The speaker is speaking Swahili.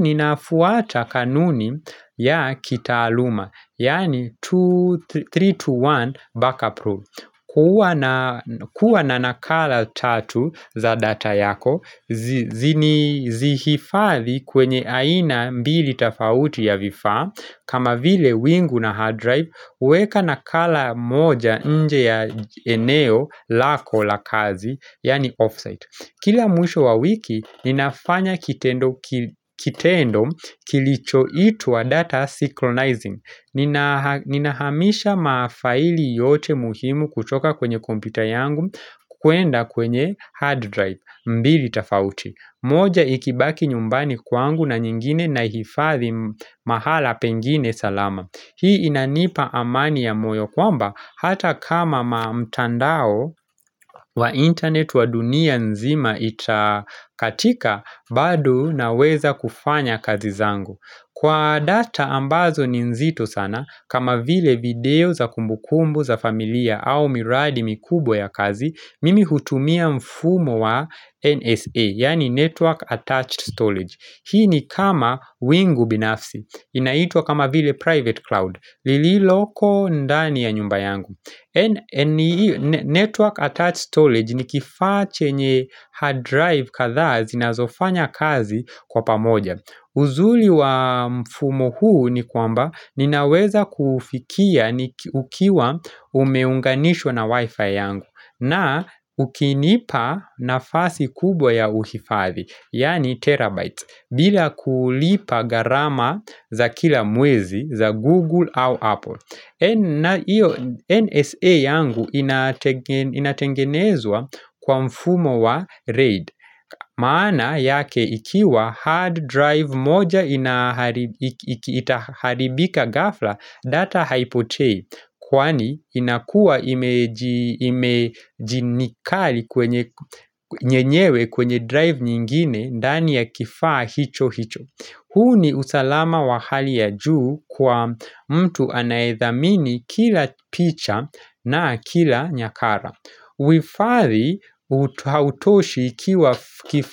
Ninafuata kanuni ya kita aluma Yani 321 backup rule kuwa na nakala tatu za data yako Zihifathi kwenye aina mbili tofauti ya vifaa kama vile wingu na hard drive weka na kala moja nje ya eneo lako la kazi Yani offsite Kila mwisho wa wiki ninafanya kitendo kilichoitwa data synchronizing Ninahamisha mafaili yote muhimu kutoka kwenye kompyuta yangu kwenda kwenye hard drive mbili tofauti moja ikibaki nyumbani kwangu na nyingine na ihifathi mahala pengine salama Hii inanipa amani ya moyo kwamba hata kama ma mtandao wa internet wa dunia nzima itakatika bado na weza kufanya kazi zangu. Kwa data ambazo ni nzito sana kama vile video za kumbukumbu za familia au miradi mikubwa ya kazi mimi hutumia mfumo wa NSA yaani Network Attached Storage. Hii ni kama wingu binafsi. Inaitwa kama vile private cloud. Lililoko ndani ya nyumba yangu. Network attached storage ni kifaachenye hard drive kadhazi na zofanya kazi kwa pamoja. Uzuri wa mfumo huu ni kwamba ninaweza kuufikia ukiwa umeunganishwa na wifi yangu na ukinipa nafasi kubwa ya uhifathi, yaani terabytes, bila kulipa garama za kila mwezi za Google au Apple. Iyo NSA yangu inatengenezwa kwa mfumo wa RAID maana yake ikiwa hard drive moja itaharibika gafla data haipotei Kwani inakua imejinikali kwenye yenyewe kwenye drive nyingine ndani ya kifaa hicho hicho huu ni usalama wa hali ya juu kwa mtu anayedhamini kila picha na kila nyakara. Uhifadhi hautoshi ikiwa kifaa.